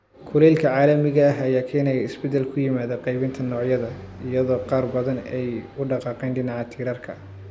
Kulaylka caalamiga ah ayaa keenaya isbeddel ku yimaada qaybinta noocyada, iyadoo qaar badan ay u dhaqaaqeen dhinaca tirarka.